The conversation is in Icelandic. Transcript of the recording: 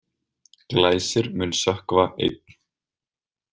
Glæsir mun sökkva einn.